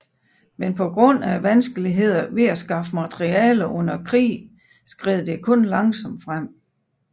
Men på grund af vanskelighederne ved at skaffe materialer under krigen skred det kun langsomt frem